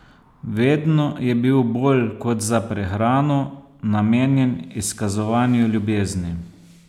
Vedno je bil bolj kot za prehrano namenjen izkazovanju ljubezni.